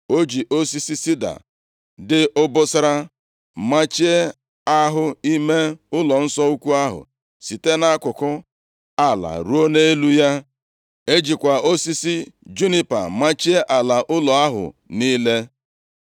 O ji osisi sida dị obosara machie ahụ ime ụlọnsọ ukwu ahụ site nʼakụkụ ala ruo nʼelu ya. E jikwa osisi junipa machie ala ụlọ ahụ niile.